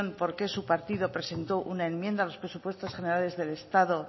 por qué su partido presentó una enmienda a los presupuestos generales del estado